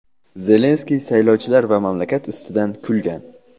Zelenskiy saylovchilar va mamlakat ustidan kulgan.